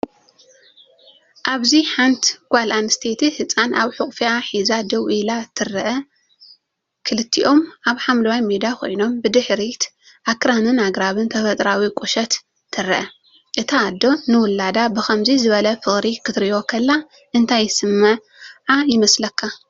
ኣብዚ ሓንቲ ጓል ኣንስተይቲ ህጻን ኣብ ሕቑፋ ሒዛ ደው ኢላ ትርአ። ክልቲኦም ኣብ ሓምላይ ሜዳ ኮይኖም፡ ብድሕሪት ኣኽራንን ኣግራብን ተፈጥሮኣዊ ቁሸት ትረአ። እታ ኣደ ንውላዳ ብኸምዚ ዝበለ ፍቕሪ ክትሪኦ ከላ እንታይ ይስምዓ ይመስለካ?